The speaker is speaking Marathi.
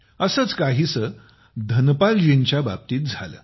असेच काहीसे धनपालजींच्या सोबत झाले